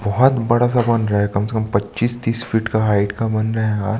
बहोत बहुत बड़ा सा बन रहा है कम से कम पच्चीस तीस फिट हाइट का बन रहा है।